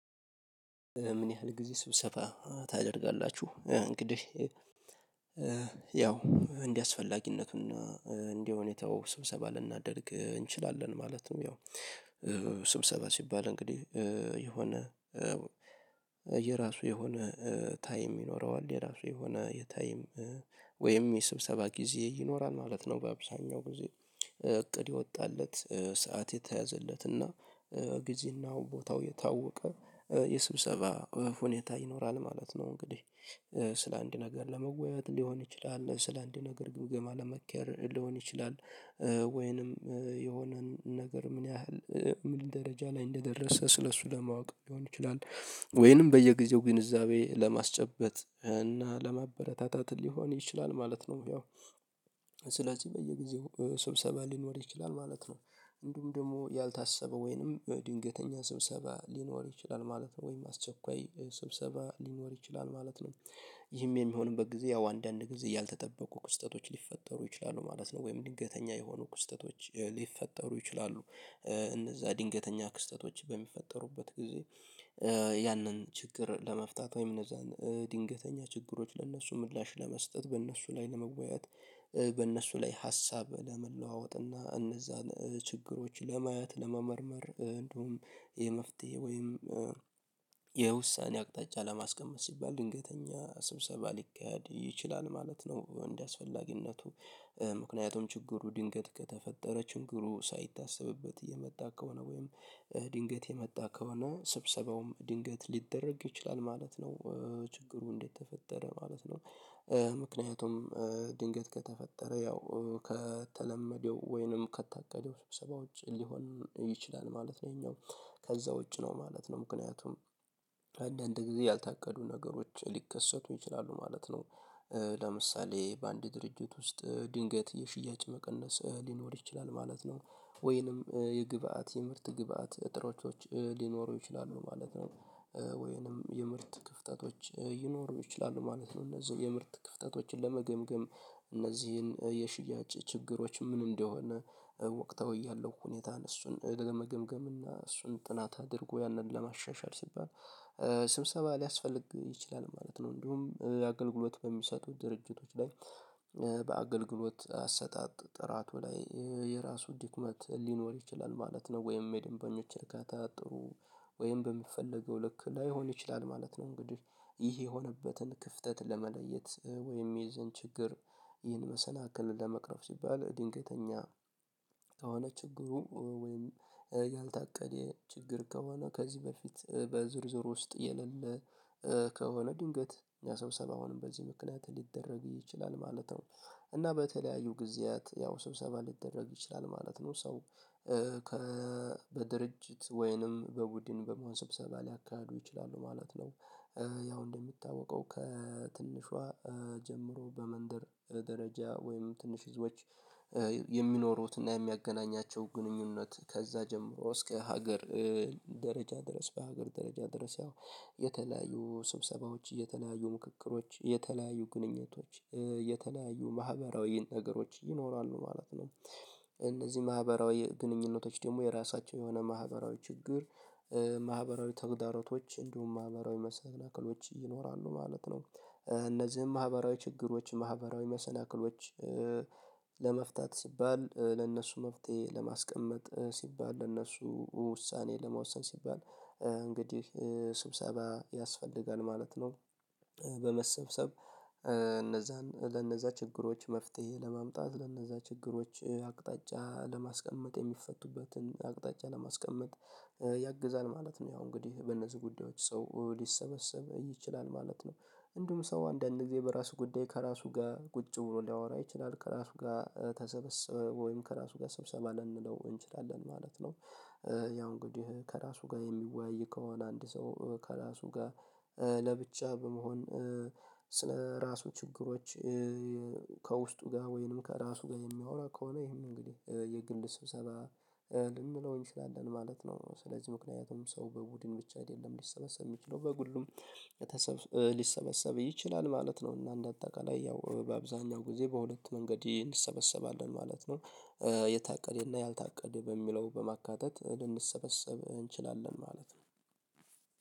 ምን ያህል ጊዜ ስብሰባ ታደርጋላችሁ? እንግዲህ ያው እንደ አስፈላጊነቱን እና እንዲህ ሁኔታው ስብሰባ ልናደርግ እንችላለን ማለት ነው። ያው ስብሰባ ሲባል እንግዲህ የሆነ የራሱ የሆነ ታይም ይኖረዋል የራሱ የሆነ የታይም ወይም የስብሰባ ጊዜ ይኖራል ማለት ነው። በአብዛኛው ጊዜ እቅድ የወጣለት ሰዓት የተያዘለትና ጊዜና ቦታው የታወቀ የስብሰባ ሁኔታ ይኖራል ማለት ነው። እንግዲህ ስለ አንድ ነገር ለመወያየት ሊሆን ይችላል ስለ አንድ ነገር ግምግም ለመከር ሊሆን ይችላል። ወይንም የሆነን ነገር ምን ያህል ምን ደረጃ ላይ እንደደረሰ ስለሱ ለማወቅ ሊሆን ይችላል ወይንም በየጊዜው ግንዛቤ ለማስጨበጥ እና ለማበረታታት ሊሆን ይችላል ማለት ነው። ያው ስለዚህ በየጊዜው ስብሰባ ሊኖር ይችላል ማለት ነው። እንዲሁም ደግሞ ያልታሰበ ወይንም ድንገተኛ ስብሰባ ሊኖር ይችላል ማለት ነው። ወይም አስቸኳይ ስብሰባ ሊኖር ይችላል ማለት ነው። ይህም የሚሆንበት ጊዜ ያው አንዳንድ ጊዜ ያልተጠበቁ ክስተቶች ሊፈጠሩ ይችላሉ ማለት ነው ወይም ድንገተኛ የሆኑ ክስተቶች ሊፈጠሩ ይችላሉ። እነዛ ድንገተኛ ክስተቶች በሚፈጠሩበት ጊዜ ያንን ችግር ለመፍታት ወይም እነዛን ድንገተኛ ችግሮች ለእነሱ ምላሽ ለመስጠት በእነሱ ላይ ለመወያየት በእነሱ ላይ ሀሳብ ለመለዋወጥ እና እነዛን ችግሮች ለማየት ለመመርመር እንደውም የመፍትሄ ወይም የውሳኔ አቅጣጫ ለማስቀመጥ ሲባል ድንገተኛ ስብሰባ ሊካሄድ ይችላል ማለት ነው። እንደዚህ አስፈላጊነቱ ምክንያቱም ችግሩ ድንገት ከተፈጠረ ችግሩ ሳይታሰብበት እየመጣ ከሆነ ወይም ድንገት የመጣ ከሆነ ስብሰባውም ድንገት ሊደረግ ይችላል ማለት ነው። ችግሩ እንዴት ተፈጠረ ማለት ነው። ምክንያቱም ድንገት ከተፈጠረ ያው ከተለመደው ወይንም ከታቀደው ስብሰባዎች ሊሆን ይችላል ማለት ነው። ይሄኛው ከዛ ውጪ ነው ማለት ነው ምክንያቱም አንዳዴ ጊዜ ያልታቀዱ ነገሮች ሊከሰቱ ይችላሉ ማለት ነው። ለምሳሌ በአንድ ድርጅት ውስጥ ድንገት የሽያጭ መቀነስ ሊኖር ይችላል ማለት ነው። ወይንም የግብአት የምርት ግብአት እጥሮቶች ሊኖሩ ይችላሉ ማለት ነው። ወይንም የምርት ክፍተቶች ይኖሩ ይችላሉ ማለት ነው እነዚህን የምርት ክፍተቶችን ለመገምገም እነዚህን የሽያጭ ችግሮች ምን እንደሆነ ወቅታዊ ያለው ሁኔታን እሱን ለመገምገም እና እሱን ጥናት አድርጎ ያንን ለማሻሻል ሲባል ስብሰባ ሊያስፈልግ ይችላል ማለት ነው። እንዲሁም አገልግሎት በሚሰጡት ድርጅቶች ላይ በአገልግሎት አሰጣጥ ጥራቱ ላይ የራሱ ድክመት ሊኖር ይችላል ማለት ነው። ወይም የደንበኞችን እርካታ ጥሩ ወይም በሚፈለገው ልክ ላይሆን ይችላል ማለት ነው። እንግዲህ ይህ የሆነበትን ክፍተት ለመለየት ወይም የዛን ችግር ይህን መሰናክል ለመቅረፍ ሲባል ድንገተኛ ከሆነ ችግሩ ወይም ያልታቀደ ችግር ከሆነ ከዚህ በፊት በዝርዝር ውስጥ የሌለ ከሆነ ድንገት ያ ሰብሰባውንም በዚህ ምክንያት ሊደረግ ይችላል ማለት ነው። እና በተለያዩ ጊዜያት ያው ስብሰባ ሊደረግ ይችላል ማለት ነው ሰው ከ በድርጅት ወይንም በቡድን በመሆን ስብሰባ ሊያካዱ ይችላሉ ማለት ነው። ያው እንደምታወቀው ከትንሿ ጀምሮ በመንደር ደረጃ ወይም ትንሽ ህዝቦች የሚኖሩትና የሚያገናኛቸው ግንኙነት ከዛ ጀምሮ እስከ ሀገር ደረጃ ድረስ በሀገር ደረጃ ድረስ ያው የተለያዩ ስብሰባዎች የተለያዩ ምክክሮች የተለያዩ ግንኙነቶች የተለያዩ ማህበራዊ ነገሮች ይኖራሉ ማለት ነው። እነዚህ ማህበራዊ ግንኙነቶች ደግሞ የራሳቸው የሆነ ማህበራዊ ችግር ማህበራዊ ተግዳሮቶች እንዲሁም ማህበራዊ መሰናክሎች ይኖራሉ ማለት ነው። እነዚህም ማህበራዊ ችግሮች ማህበራዊ መሰናክሎች ለመፍታት ሲባል ለእነሱ መፍትሄ ለማስቀመጥ ሲባል ለእነሱ ውሳኔ ለመወሰን ሲባል እንግዲህ ስብሰባ ያስፈልጋል ማለት ነው። በመሰብሰብ እነዛን ለነዛ ችግሮች መፍትሄ ለማምጣት ለነዛ ችግሮች አቅጣጫ ለማስቀመጥ የሚፈቱበትን አቅጣጫ ለማስቀመጥ ያግዛል ማለት ነው። ያው እንግዲህ በነዚህ ጉዳዮች ሰው ሊሰበሰብ ይችላል ማለት ነው። እንዲሁም ሰው አንዳንድ ጊዜ በራሱ ጉዳይ ከራሱ ጋር ቁጭ ብሎ ሊያወራ ይችላል ከራሱ ጋር ተሰበሰበ ወይም ከራሱ ጋር ሰብሰባ ልንለው እንችላለን ማለት ነው። ያው እንግዲህ ከራሱ ጋር የሚወያይ ከሆነ አንድ ሰው ከራሱ ጋር ለብቻ በመሆን ስለ ራሱ ችግሮች ከውስጡ ጋር ወይንም ከራሱ ጋር የሚያወራ ከሆነ ይሄን እንግዲህ የግል ስብሰባ ልንለው እንችላለን ማለት ነው። ስለዚህ ምክንያቱም ሰው በቡድን ብቻ አይደለም ሊሰበሰብ የሚችለው በግሉም ሊሰበሰብ ይችላል ማለት ነው። እና እንደ አጠቃላይ ያው በአብዛኛው ጊዜ በሁለት መንገድ እንሰበሰባለን ማለት ነው። የታቀደና ያልታቀደ በሚለው በማካተት ልንሰበሰብ እንችላለን ማለት ነው።